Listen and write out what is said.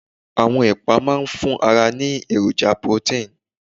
Àwọn ẹ̀pà máa ń fún ara ní èròjà protein